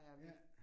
Ja